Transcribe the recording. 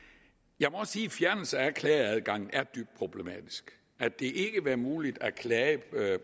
jeg må også en fjernelse af klageadgangen er dybt problematisk at det ikke vil være muligt at klage